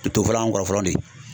Tofɔla an kɔrɔ fɔlɔ de.